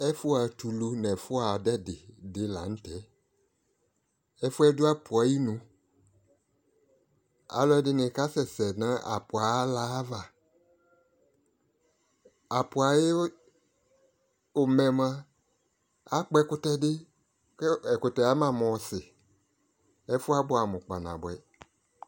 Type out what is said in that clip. Ɛfʋatɛ ulu nʋ ɛfʋadʋ ɛdɩ la nʋ tɛ Ɛfʋ yɛ dʋ apʋ ayinu Alʋɛdɩnɩ kasɛsɛ nʋ apʋ yɛ ayʋ ala yɛ ava Apʋ yɛ ayʋ ʋmɛ mʋa, akpɔ ɛkʋtɛ dɩ kʋ ɛkʋtɛ yɛ ama mʋ ɔsɩ Ɛfʋ yɛ abʋɛamʋ kpanabʋɛ